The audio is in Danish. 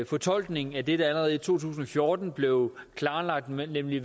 fortolkning af det der allerede i to tusind og fjorten blev klarlagt nemlig